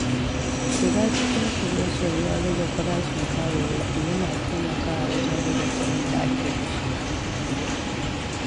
Shiga cikin shirye-shiryen rage farashin kayayyaki yana taimakawa wajen rage kuɗin da ake kashewa.